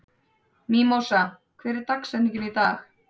Mímósa, hver er dagsetningin í dag?